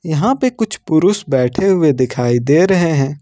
यहां पे कुछ पुरुष बैठे हुए दिखाई दे रहे हैं।